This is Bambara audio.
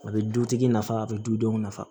A bɛ dutigi nafa a bɛ dudenw nafa